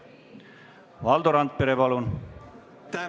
Valdo Randpere, palun!